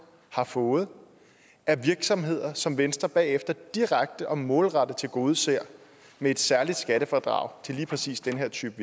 har fået af virksomheder som venstre bagefter direkte og målrettet har tilgodeset med et særligt skattefradrag til lige præcis den her type